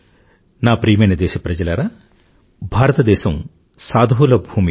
నా ప్రియమైన దేశప్రజలారా భారతదేశం సాధువుల భూమి